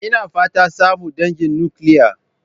Ina fatan samun dangin nukiliya.